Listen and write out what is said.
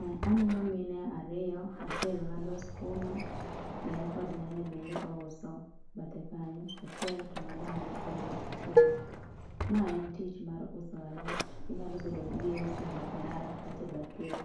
Ah aneno mine ariyo, achiel ng'ado sukuma to en kod nyanya bende ouso bathe kanyo achiel to ng'ado mana bende sukuma. Ma en tich mamar uso alot, inyalo bedo ni iuso e bath ndara katae bath yoo.